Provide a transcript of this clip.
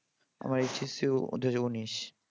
আমার HSC দু হাজার উনিশ